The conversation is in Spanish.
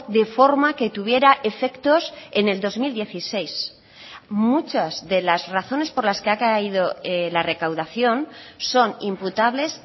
de forma que tuviera efectos en el dos mil dieciséis muchas de las razones por las que ha caído la recaudación son imputables